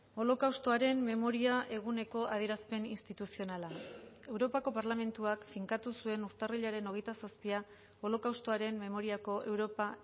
holokaustoaren memoria eguneko adierazpen instituzionala europako parlamentuak finkatu zuen urtarrilaren hogeita zazpia holokaustoaren memoriako europa